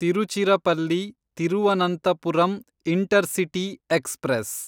Tiruchirappalli Thiruvananthapuram intercity express